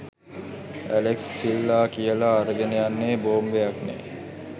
Alex සිල්ලා කියලා අරගෙන යන්නෙ බෝම්බයක්නේ